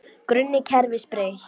Grunni kerfis breytt